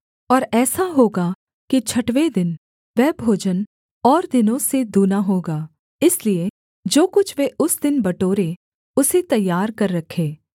और ऐसा होगा कि छठवें दिन वह भोजन और दिनों से दूना होगा इसलिए जो कुछ वे उस दिन बटोरें उसे तैयार कर रखें